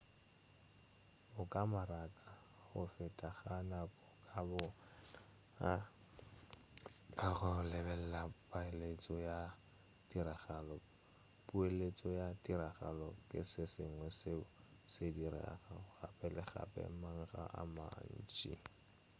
o ka maraka go feta ga nako ka bo wena ka go lebelela poeletša ya tiragalo poeletšo ya tiragalo ke se sengwe seo se diregago gape le gape makga a mantši